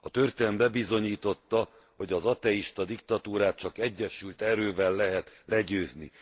A történelem bebizonyította, hogy az ateista diktatúrát csak egyesült erővel lehet legyőzni.